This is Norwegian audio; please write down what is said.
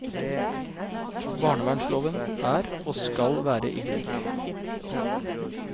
Barnevernsloven er og skal være i bruk.